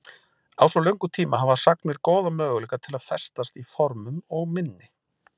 Á svo löngum tíma hafa sagnir góða möguleika til að festast í formum og minni.